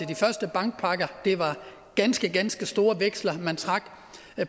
de første bankpakker det var ganske ganske store veksler man trak